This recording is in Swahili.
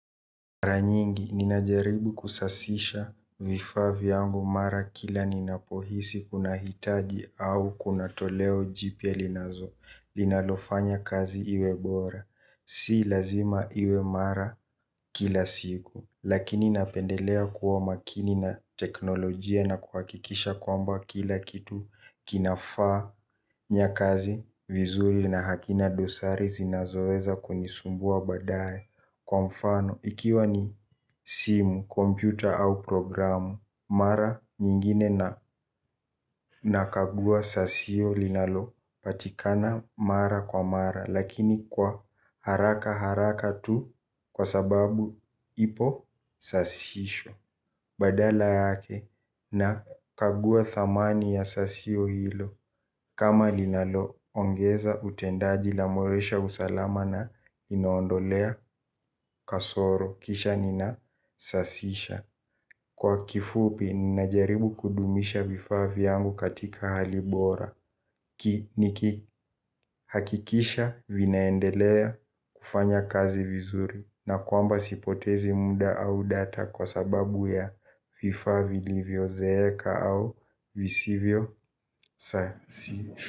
Mara nyingi, ninajaribu kusasisha vifaa vyangu mara kila ninapohisi kunahitaji au kuna toleo jipya linazo. Linalofanya kazi iwe bora. Si lazima iwe mara kila siku. Lakini napendelea kuwa makini na teknolojia na kuhakikisha kwamba kila kitu kinafaa. Fanya kazi vizuri na hakina dosari zinazoweza kunisumbua baadaye lwa mfano ikiwa ni simu kompyuta au programu mara nyingine nakagua sasio linalopatikana mara kwa mara lakini kwa haraka haraka tu kwa sababu ipo sasisho. Badala yake nakagua dhamani ya sasio hilo kama linaloongeza utendaji linaimarisha usalama linaondolea kasoro kisha nisasisha kwa kifupi ninajaribu kudumisha vifaa vyangu katika hali bora ki nikihakikisha vinaendelea kufanya kazi vizuri. Na kwamba sipotezi muda au data kwa sababu ya vifaa vilivyozeeka au visivyosasishwa.